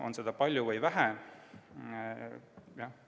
On seda palju või vähe?